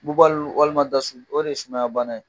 Bubali walima dasu o de ye sumaya bana ye.